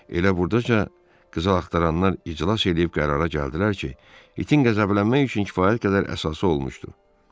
Elə burdaca qızıl axtaranlar iclas eləyib qərara gəldilər ki, itin qəzəblənmək üçün kifayət qədər əsası olmuşdu.